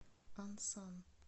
ансан